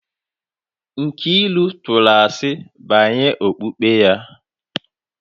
Nkiru tụrụ asi banyere okpukpe ya